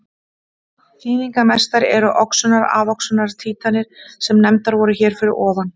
Þýðingarmestar eru oxunar-afoxunar títranir sem nefndar voru hér fyrir ofan.